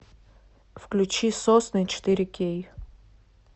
включи сосны четыре кей